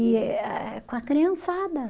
E eh eh, com a criançada.